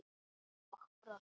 Og brosti.